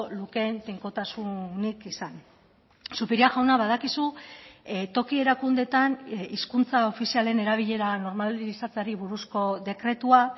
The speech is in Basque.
lukeen tinkotasunik izan zupiria jauna badakizu toki erakundeetan hizkuntza ofizialen erabilera normalizatzeari buruzko dekretua